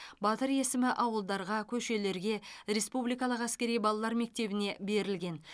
батыр есімі ауылдарға көшелерге республикалық әскери балалар мектебіне берілген